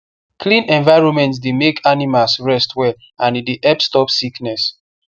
clean environment dey make animals rest well and e dey help stop sickness